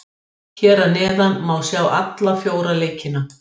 Hér að neðan má sjá alla fjóra leikina.